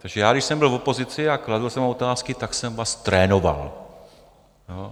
Takže já, když jsem byl v opozici a kladl jsem vám otázky, tak jsem vás trénoval.